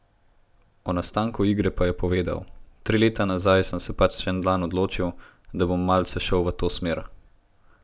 O nastanku igre pa je povedal: 'Tri leta nazaj sem se pač en dan odločil, da bom malce šel v to smer.